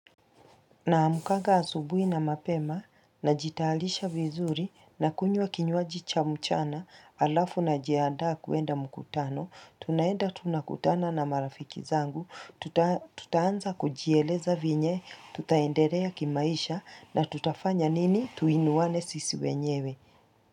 Naamkanga asubui na mapema najitayarisha vizuri na kunywa kinywaji cha mchana halafu najiaanda kuenda mkutano, tunaenda tunakutana na marafiki zangu, tutaanza kujieleza vyenye, tutaendelea kimaisha na tutafanya nini tuinuwane sisi wenyewe.